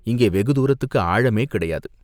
இங்கே வெகுத்தூரத்துக்கு ஆழமே கிடையாது.